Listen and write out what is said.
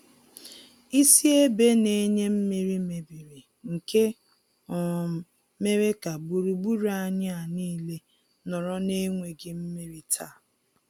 Isi ebe na-enye mmiri mebiri nke um mere ka gburugburu anyị a nile nọrọ na enweghị mmiri taa.